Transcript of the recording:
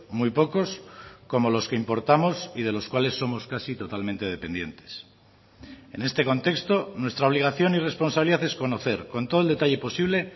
muy pocos como los que importamos y de los cuales somos casi totalmente dependientes en este contexto nuestra obligación y responsabilidad es conocer con todo el detalle posible